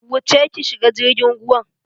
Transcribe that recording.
Wuce ki shiga jirgin ruwan.